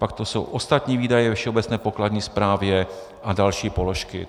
Pak tu jsou ostatní výdaje ve všeobecné pokladní správě a další položky.